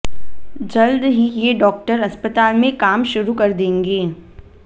जल्द ही ये डाक्टर अस्पताल में काम शुरू कर देंगे